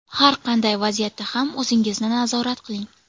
Har qanday vaziyatda ham o‘zingizni nazorat qiling.